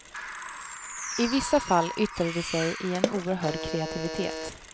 I vissa fall yttrar det sig i en oerhörd kreativitet.